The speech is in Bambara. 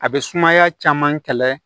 A bɛ sumaya caman kɛlɛ